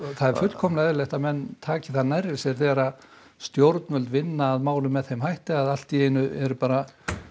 það er fullkomlega eðlilegt að menn taki það nærri sér þegar stjórnvöld vinna að málum með þeim hætti að allt í einu er bara